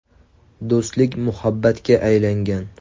Do‘stlik muhabbatga aylangan.